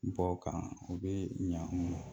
Bɔ o kan o bɛ ɲɛ an ma